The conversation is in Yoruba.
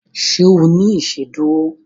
ṣe o ní iṣeduro?